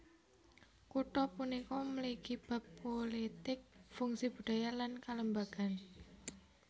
Kutha punika mligi bab pulitik fungsi budaya lan kalembagan